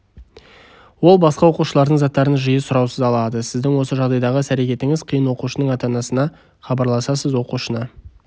ол басқа оқушылардың заттарын жиі сұраусыз алады сіздің осы жағдайдағы іс-әрекетіңіз қиын оқушының ата-анасына хабарласасыз оқушыны